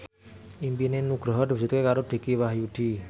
impine Nugroho diwujudke karo Dicky Wahyudi